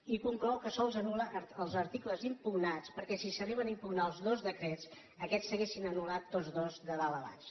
i conclou que sols anul·la els articles impugnats perquè si s’arriben a impugnar els dos decrets aquests s’haurien anul·lat tots dos de dalt a baix